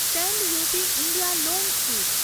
stand up India loan scheme